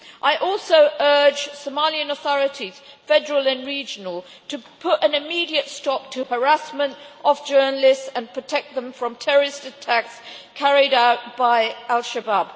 I also urge Somalian authorities, federal and regional, to put an immediate stop to harassment of journalists and protect them from terrorist attacks carried out by Al Shabab.